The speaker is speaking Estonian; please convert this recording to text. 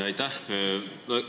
Aitäh!